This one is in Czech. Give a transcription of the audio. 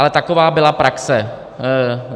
Ale taková byla praxe.